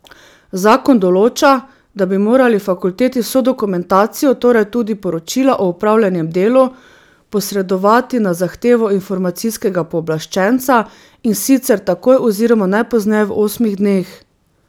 Zakon določa, da bi morali fakulteti vso dokumentacijo, torej tudi poročila o opravljenem delu, posredovati na zahtevo Informacijskega pooblaščenca, in sicer takoj oziroma najpozneje v osmih dneh.